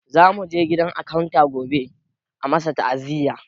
Za muje gidan akanta gobe a masa ta'aziya